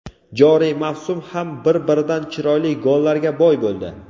Joriy mavsum ham bir-biridan chiroyli gollarga boy bo‘ldi.